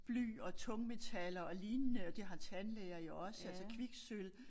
Bly og tungmetaller og lignende og det har tandlæger jo også altså kviksølv